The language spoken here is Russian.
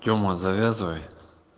тёма завязывай